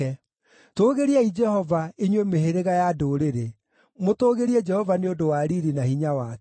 Tũũgĩriai Jehova, inyuĩ mĩhĩrĩga ya ndũrĩrĩ, mũtũũgĩrie Jehova nĩ ũndũ wa riiri na hinya wake,